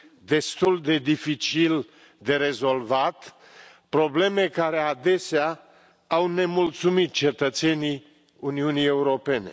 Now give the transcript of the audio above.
destul de dificil de rezolvat, probleme care adesea au nemulțumit cetățenii Uniunii Europene.